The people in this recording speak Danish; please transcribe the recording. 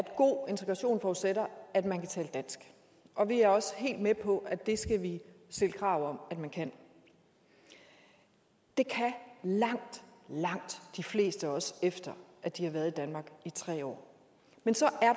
at god integration forudsætter at man kan tale dansk og vi er også helt med på at det skal vi stille krav om man kan det kan langt langt de fleste også efter at de har været i danmark i tre år men så